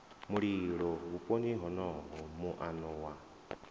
mulilo vhuponi honoho muano wa